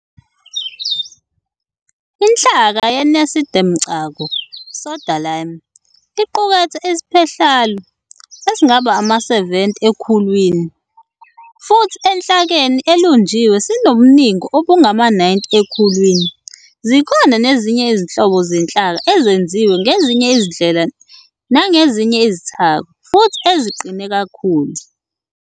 Inhlaka yeNasidemcako "soda-lime", iqukethe iSiphehlalu esingaba ama-70 ekhulwini, futhi enhlakeni elunjiwe sinobuningi obungama-90 ekhulwini. Zikhona nezinye izinhlobo zenhlaka ezenziwe ngezinye izindlela nangezinye izithako, futhi eziqine kakhulu.